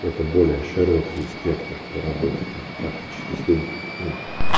это более широкий спектр по работе там практически с любым ну